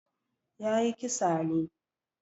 Ya yi kisa ne.